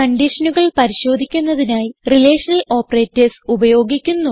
കൺഡിഷനുകൾ പരിശോധിക്കുന്നതിനായി relational operators ഉപയോഗിക്കുന്നു